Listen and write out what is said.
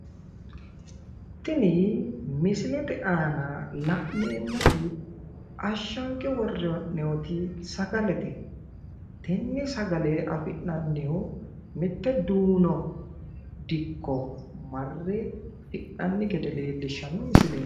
tini misilete aana la'neemoti ashshange worre hee'noyiiti sagalete tenne sagale afi'nannihu mitte duuno dikko marre hidhinanni geded leellishshanno misileeti